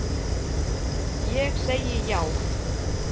Ég segi já.